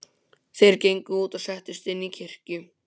Þeir gengu út og settust inn í kirkju.